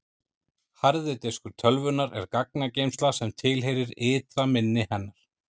harði diskur tölvunnar er gagnageymsla sem tilheyrir ytra minni hennar